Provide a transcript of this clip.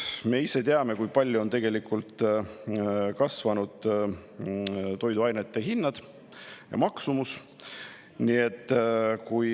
Me ise teame, kui palju on tegelikult kasvanud toiduainete hinnad, nende maksumus.